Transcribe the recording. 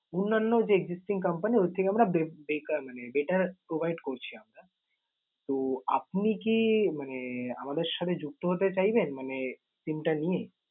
অন্যান্য যে existing company ওর থেকে আমরা বেকার~ মানে better provide করছি আমরা। তো আপনি কি মানে আমাদের সাথে যুক্ত হতে চাইবেন মানে SIM টা নিয়ে?